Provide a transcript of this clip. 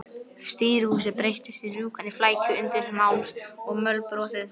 Stýrishúsið breyttist í rjúkandi flækju undins málms og mölbrotins tréverks.